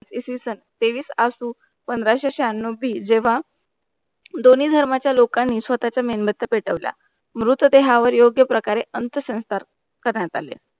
इस विषं तेवीस आशु पंधरा से शाहनोवी जेवा दोन्ही धर्माचा लोखांनी स्वतःचा मेणबत्त्या पेटवल्या, मृत देहावर योग्य प्रकार अंत संस्कार प्रधान झाले.